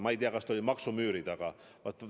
Ma ei tea, kas see oli maksumüüri taga.